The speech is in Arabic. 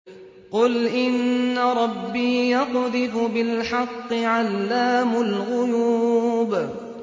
قُلْ إِنَّ رَبِّي يَقْذِفُ بِالْحَقِّ عَلَّامُ الْغُيُوبِ